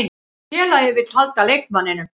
Félagið vill halda leikmanninum.